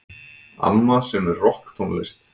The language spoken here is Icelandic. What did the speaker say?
Amma semur rokktónlist.